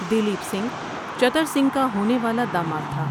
دلیپ سنگھ چتر سنگھ کا ہونے والا داماد تھا ۔